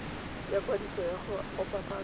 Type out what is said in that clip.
ya kwadiso ya go opafatsa